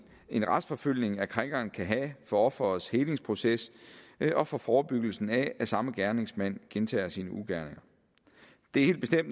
en retsforfølgning af krænkeren kan have for offerets helingsproces og for forebyggelsen af at samme gerningsmand gentager sine ugerninger det